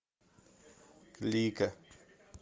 лига